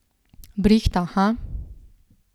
Brihta, ha?